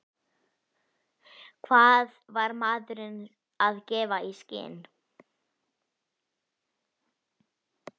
Hvað var maðurinn að gefa í skyn?